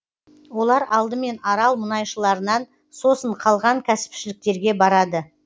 олар алдымен арал мұнайшыларынан сосын қалған кәсіпшіліктерге барады